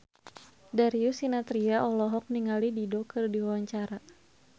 Darius Sinathrya olohok ningali Dido keur diwawancara